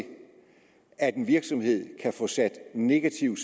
at en virksomhed kan få sat negativ